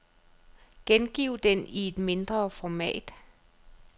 Gengiv den i et mindre format.